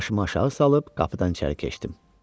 Başımı aşağı salıb qapıdan içəri keçdim.